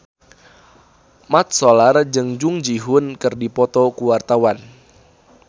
Mat Solar jeung Jung Ji Hoon keur dipoto ku wartawan